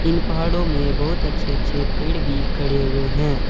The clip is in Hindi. इन पहाड़ों में बहुत अच्छे अच्छे पेड़ भी खड़े हुए हैं।